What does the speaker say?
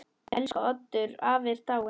Elsku Oddur afi er dáinn.